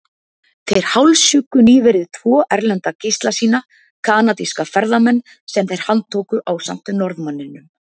Þeir hálshjuggu nýverið tvo erlenda gísla sína, kanadíska ferðamenn sem þeir handtóku ásamt Norðmanninum.